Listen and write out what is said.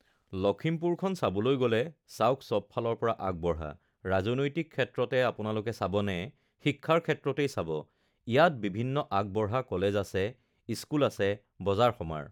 লখিমপুৰখন চাবলৈ গ'লে চাওক সবফালৰ পৰা আগবঢ়া ৰাজনৈতিক ক্ষেত্ৰতে আপোনালোকে চাবনে শিক্ষাৰ ক্ষেত্ৰতেই চাব ইয়াত বিভিন্ন আগবঢ়া কলেজ আছে, স্কুল আছে, বজাৰ-সমাৰ